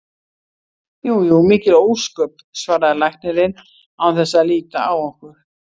Jú jú, mikil ósköp, svaraði læknirinn án þess að líta á okkur.